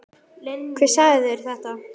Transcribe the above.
Hver sagði þér þetta?